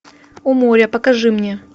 у моря покажи мне